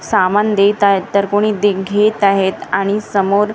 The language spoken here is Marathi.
सामान देत आहेत तर कोणी दे घेत आहेत आणि समोर--